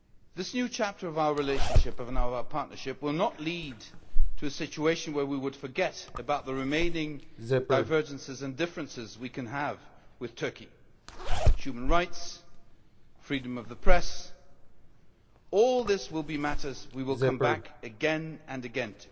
This new chapter of our relationship, and now our partnership, will not lead to a situation in which we forget the remaining divergences and differences we may have with Turkey on human rights and freedom of the press. All of these will be matters to which we will come back again and again.